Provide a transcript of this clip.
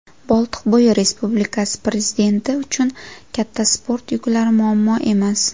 Boltiqbo‘yi Respublikasi prezidenti uchun katta sport yuklari muammo emas.